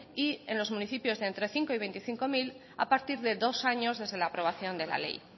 y en los municipios de entre cinco mil y veinticinco mil a partir de dos años desde la aprobación de la ley